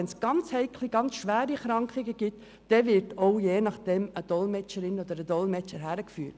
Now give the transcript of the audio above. Wenn es um ganz heikle Situationen und um schwere Krankheiten geht, wird je nachdem eine Dolmetscherin oder ein Dolmetscher beigezogen.